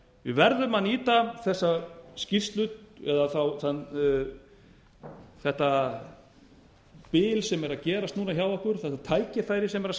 við verðum að nýta þessa skýrslu eða þetta bil sem er að gerast núna hjá okkur þetta tækifæri sem er að